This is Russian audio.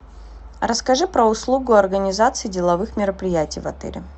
расскажи про услугу организации деловых мероприятий в отеле